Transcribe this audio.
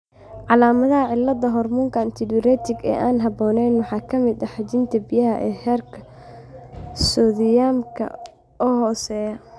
Calaamadaha cilladda hoormoonka antidiuretic ee aan habboonayn waxaa ka mid ah xajinta biyaha iyo heerka soodhiyamka oo hooseeya.